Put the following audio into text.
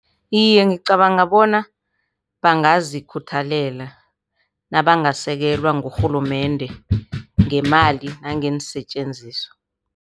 Iye, ngicabanga bona bangazikhuthalela nabangasekelwa ngurhulumende ngemali nangeensetjenziswa.